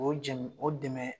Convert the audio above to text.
O jɛmu o dɛmɛ